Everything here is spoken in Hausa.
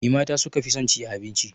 Me mata su ka fi son ci a abinci?